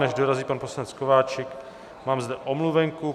Než dorazí pan poslanec Kováčik, mám zde omluvenku.